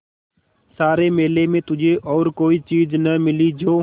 सारे मेले में तुझे और कोई चीज़ न मिली जो